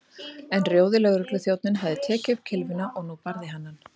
En rjóði lögregluþjónninn hafði tekið upp kylfuna og nú barði hann